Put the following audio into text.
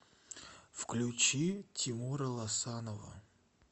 включи тимура лосанова